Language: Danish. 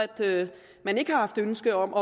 man ikke har haft ønske om